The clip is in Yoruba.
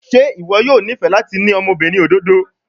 Ṣe iwọ yoo nifẹ lati ni ọmọbirin ododo?